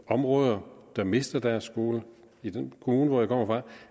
områder der mister deres skoler i den kommune hvor jeg kommer fra